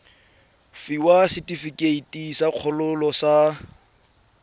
fiwa setefikeiti sa kgololo sa